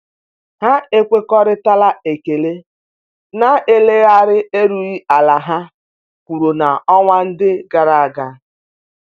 Ha ekwekoritara ekele na eleghara erughi ala ha wụrụ na-onwa ndi agaraga.